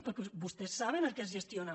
perquè vostès saben el que és gestionar